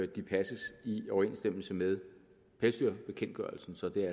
de passes i overensstemmelse med pelsdyrbekendtgørelsen så jeg